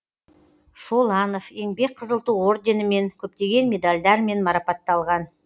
шоланов еңбек қызыл ту орденімен көптеген медальдармен марапатталған